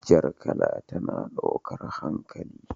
Jar kala tana daukar hankali.